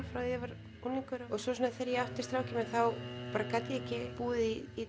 frá því ég var unglingur svo þegar ég átti strákinn þá gat ég ekki búið í